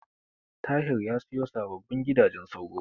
Tahir ya siyo sababbin gidajen sauro.